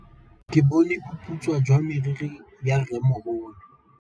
Ke bone boputswa jwa meriri ya rrêmogolo.